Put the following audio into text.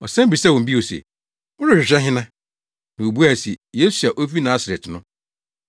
Ɔsan bisaa wɔn bio se, “Morehwehwɛ hena?” Na wobuae se, “Yesu a ofi Nasaret no.”